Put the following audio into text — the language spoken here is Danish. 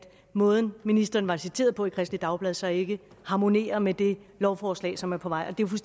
måden ministeren var citeret på i kristeligt dagblad så ikke harmonerer med det lovforslag som er på vej det er